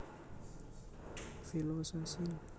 villosa sin